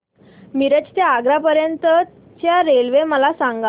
मिरज ते आग्रा पर्यंत च्या रेल्वे मला सांगा